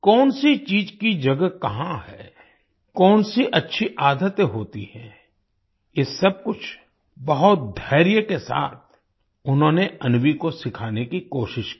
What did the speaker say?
कौन सी चीज की जगह कहाँ है कौन सी अच्छी आदतें होती हैं ये सब कुछ बहुत धैर्य के साथ उन्होंने अन्वी को सिखाने की कोशिश की